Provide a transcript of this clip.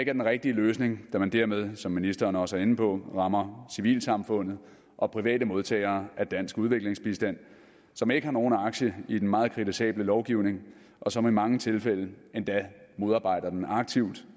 er den rigtige løsning da man dermed som ministeren også var inde på rammer civilsamfundet og private modtagere af dansk udviklingsbistand som ikke har nogen aktier i den meget kritisable lovgivning og som i mange tilfælde endda modarbejder den aktivt